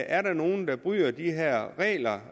er der nogen der bryder de her regler